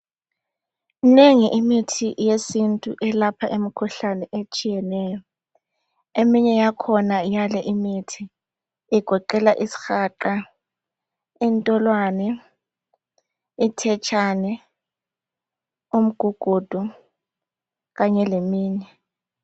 Minengi imithi yesintu eyelapha imikhuhlane etshiyeneyo eminye yakhona yaleyi imithi igoqela isihaqa intolwane, ithetshane umgugudu kanye leminye